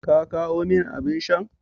Ka kawo min abin shan?